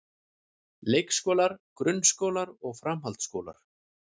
Leikskólar, grunnskólar og framhaldsskólar.